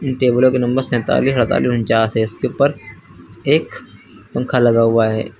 टेबलों के नंबर सैंतालीस अड़तालिस ऊंचास है इसके ऊपर एक पंखा लगा हुआ है।